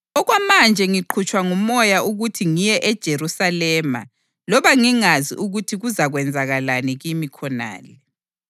Okwamanje ngiqhutshwa nguMoya ukuthi ngiye eJerusalema loba ngingazi ukuthi kuzakwenzakalani kimi khonale.